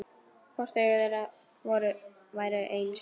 Hvort augu þeirra væru eins.